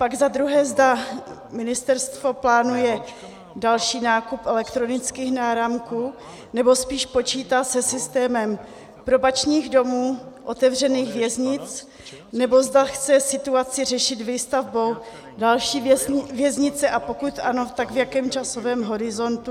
Pak za druhé, zda ministerstvo plánuje další nákup elektronických náramků, nebo spíš počítá se systémem probačních domů, otevřených věznic, nebo zda chce situaci řešit výstavbou další věznice, a pokud ano, tak v jakém časovém horizontu.